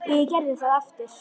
Og ég gerði það aftur.